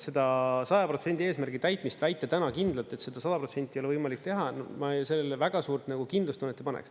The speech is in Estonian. Seda 100% eesmärgi täitmist väita täna kindlalt, et seda 100% ei ole võimalik teha, ma sellele väga suurt kindlustunnet ei paneks.